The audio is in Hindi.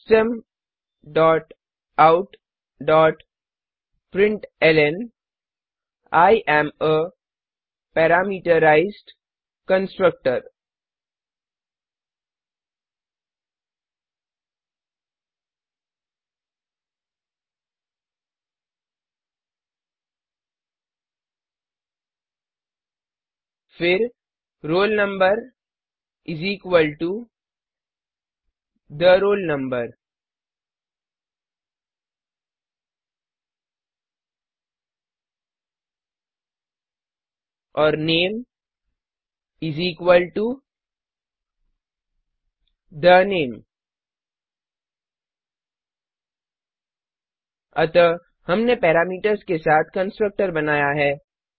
system dot out dot println I am a parameterised constructor फिर roll number is equal to the roll number और name is equal to the name अतः हमने पैरीमीटर्स के साथ कंस्ट्रक्टर बनाया है